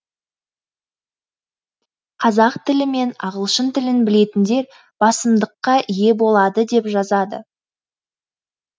қазақ тілі мен ағылшын тілін білетіндер басымдыққа ие болады деп жазады